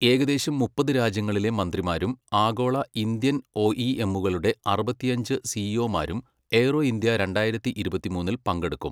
ഏകദേശം മുപ്പത് രാജ്യങ്ങളിലെ മന്ത്രിമാരും ആഗോള, ഇന്ത്യൻ ഒഇഎമ്മുകളുടെ അറുപത്തിയഞ്ച് സിഇഒമാരും എയ്റോ ഇന്ത്യ രണ്ടായിരത്തി ഇരുപത്തിമൂന്നിൽ പങ്കെടുക്കും.